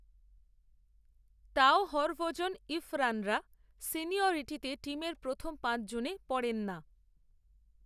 তাও হরভজন ইরফানরা, সিনিয়রিটিতে টিমের প্রথম পাচঁছজনে পড়েন না